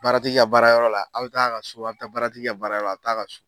Baratigi ka baarayɔrɔ la, aw bɛ t'a ka so , baratigi baara jɔrɔ la , a bɛ t'a ka so.